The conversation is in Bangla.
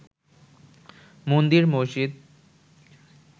মন্দির মসজিদ